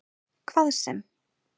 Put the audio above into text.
Hvað sem